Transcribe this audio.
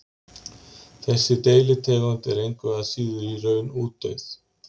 Þessi deilitegund er engu að síður í raun útdauð.